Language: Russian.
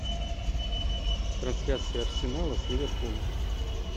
трансляция арсенала с ливерпулем